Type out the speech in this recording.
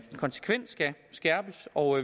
konsekvent skal skærpes og